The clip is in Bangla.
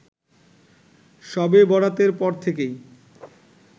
‌শবে বরাতের পর থেকেই